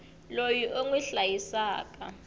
loyi u n wi hlayisaka